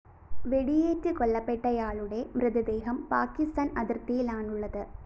വെടിയേറ്റ് കൊല്ലപ്പെട്ടയാളുടെ മൃതദേഹം പാക്കിസ്ഥാന്‍ അതിര്‍ത്തിയിലാണുള്ളത്